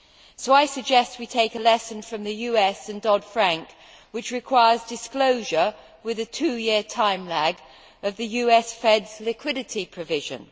So I suggest that we take a lesson from the US and the Dodd Frank Act which requires disclosure, with a two year time lag, of the US Fed's liquidity provision.